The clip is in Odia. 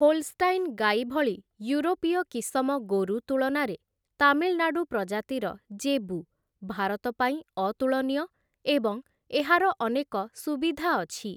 ହୋଲଷ୍ଟାଇନ୍ ଗାଈ ଭଳି ୟୁରୋପୀୟ କିସମ ଗୋରୁ ତୁଳନାରେ ତାମିଲନାଡ଼ୁପ୍ରଜାତିର, ଜେବୁ ଭାରତ ପାଇଁ ଅତୁଳନୀୟ ଏବଂ ଏହାର ଅନେକ ସୁବିଧା ଅଛି ।